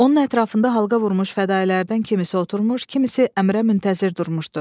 Onun ətrafında halqa vurmuş fədalərdən kimisi oturmuş, kimisi əmrə müntəzir durmuşdu.